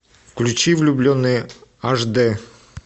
включи влюбленные аш дэ